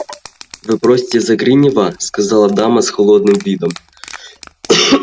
вы просите за гринёва сказала дама с холодным видом